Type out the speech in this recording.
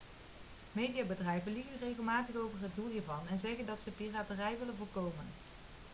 mediabedrijven liegen regelmatig over het doel hiervan en zeggen dat ze piraterij willen voorkomen